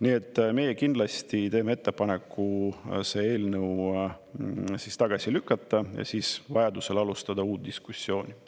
Nii et meie kindlasti teeme ettepaneku see eelnõu tagasi lükata, siis vajadusel alustada uut diskussiooni.